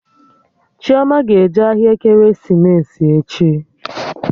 Chioma ga-eje ahịa ekeresimesi echi